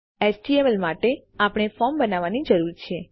HTML માટે આપણે form બનાવવાની જરૂર છે